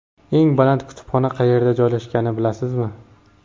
Eng baland kutubxona qayerda joylashganini bilasizmi?.